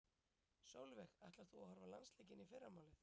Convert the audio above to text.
Sólveig: Ætlar þú að horfa á landsleikinn í fyrramálið?